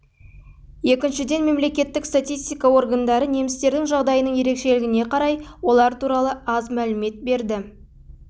екіншіден мемлекеттік статистика органдары немістердің жағдайының ерекшелігіне қарай олар туралы аз мәлімет береді